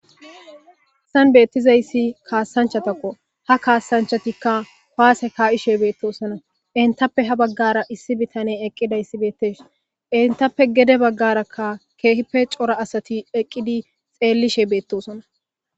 histan beettizayssi kaassanchatakko ha kaassanchatikka paase kaa7ishe beettosona intappe ha baggara issi bitane eqqidayssi beettes intappe gede baggarakka keehippe cora asati eqqidi xeellishe beettosona